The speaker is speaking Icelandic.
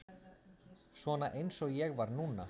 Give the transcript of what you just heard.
Svona eins og ég var núna.